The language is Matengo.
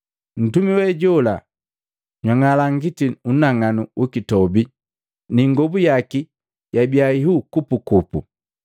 Ntumi we jola jwang'ala ngati unang'anu ukitobi ni ingobu yaki yabia ihuu kupukupu.